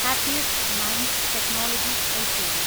happiest minds technologies LTD